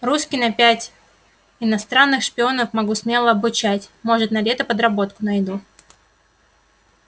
русский на пять иностранных шпионов могу смело обучать может на лето подработку найду